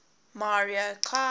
mario kart